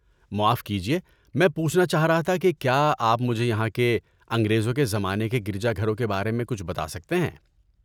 معاف کیجیے، میں پوچھنا چاہ رہا تھا کہ کیا آپ مجھے یہاں کے انگریزوں کے زمانے کے گرجا گھروں کے بارے میں کچھ بتا سکتے ہیں؟